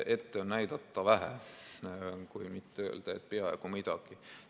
Ette on näidata vähe, kui mitte öelda, et peaaegu ei midagi.